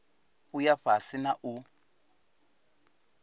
u ya fhasi na u